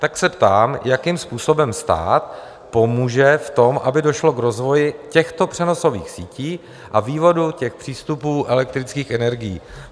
Tak se ptám, jakým způsobem stát pomůže v tom, aby došlo k rozvoji těchto přenosových sítí a vývodu těch přístupů elektrických energií?